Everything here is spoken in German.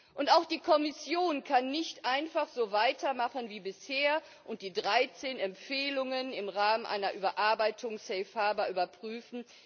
Und auch die Kommission kann nicht einfach so weitermachen wie bisher und die 13 Empfehlungen im Rahmen einer Überarbeitung von Safe Harbour überprüfen